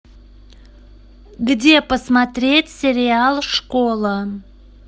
где посмотреть сериал школа